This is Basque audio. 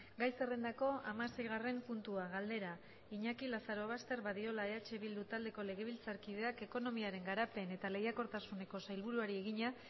gai zerrendako hamaseigarren puntua galdera iñaki lazarobaster badiola eh bildu taldeko legebiltzarkideak ekonomiaren garapen eta lehiakortasuneko sailburuari egina